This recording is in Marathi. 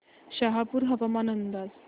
शहापूर हवामान अंदाज